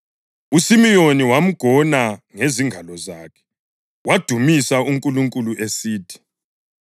uSimiyoni wamgona ngezingalo zakhe wadumisa uNkulunkulu esithi: